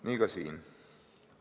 Nii ka siin.